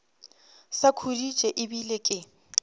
sa khuditše e bile ke